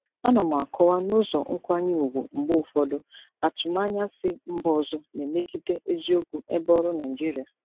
Ana m akọwa n'ụzọ nkwanye ùgwù mgbe ụfọdụ atụmanya si mba ọzọ na-emegide eziokwu ebe ọrụ Naịjirịa.